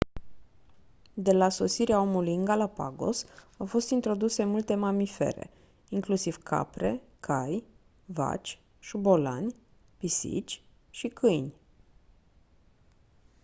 de la sosirea omului în galapagos au fost introduse multe mamifere inclusiv capre cai vaci șobolani pisici și câini